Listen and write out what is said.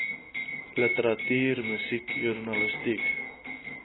literatuur musiek joernalistiek